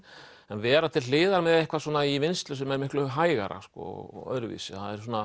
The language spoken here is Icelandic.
en vera til hliðar með eitthvað í vinnslu sem er miklu hægara og öðruvísi